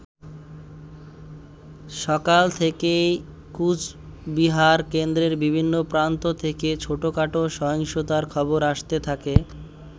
সকাল থেকেই কোচবিহার কেন্দ্রের বিভিন্ন প্রান্ত থেকে ছোটখাটো সহিংসতার খবর আসতে থাকে।